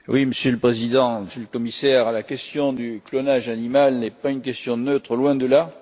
Monsieur le Président, Monsieur le Commissaire, la question du clonage animal n'est pas une question neutre, loin de là.